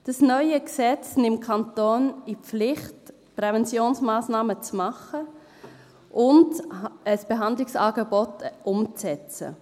Das neue Gesetz nimmt die Kantone in die Pflicht, Präventionsmassnahmen zu machen und ein Behandlungsangebot umzusetzen.